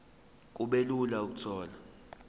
kube lula ukuthola